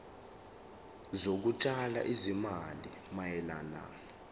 zokutshala izimali mayelana